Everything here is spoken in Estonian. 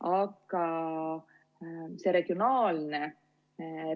Aga regionaalne